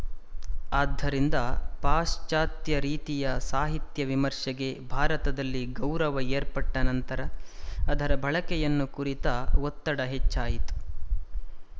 ಆದ್ದರಿಂದ ಪಾಶ್ಚತ್ಯ ರೀತಿಯ ಸಾಹಿತ್ಯ ವಿಮರ್ಷೆಗೆ ಭಾರತದಲ್ಲಿ ಗೌರವ ಏರ್ಪಟ್ಟ ನಂತರ ಅದರ ಬಳಕೆಯನ್ನು ಕುರಿತ ಒತ್ತಡ ಹೆಚ್ಚಾಯಿತು